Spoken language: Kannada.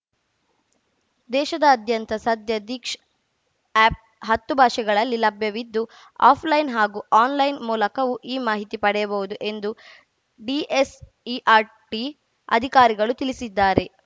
ದೇಶಾದಾದ್ಯಂತ ಸದ್ಯ ದೀಕ್ಷಾ ಆಪ್‌ ಹತ್ತು ಭಾಷೆಗಳಲ್ಲಿ ಲಭ್ಯವಿದ್ದು ಆಫ್‌ಲೈನ್‌ ಹಾಗೂ ಆನ್‌ಲೈನ್‌ ಮೂಲಕವೂ ಈ ಮಾಹಿತಿ ಪಡೆಯಬಹುದು ಎಂದು ಡಿಎಸ್‌ಇಆರ್‌ಟಿ ಅಧಿಕಾರಿಗಳು ತಿಳಿಸಿದ್ದಾರೆ